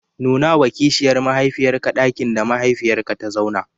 Nunawa kishiyar mahaifiyarka ɗakin da mahaifiyarka ta zauna.